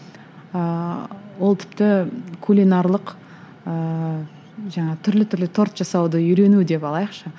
ыыы ол тіпті кулинарлық ыыы жаңағы түрлі түрлі торт жасауды үйрену деп алайықшы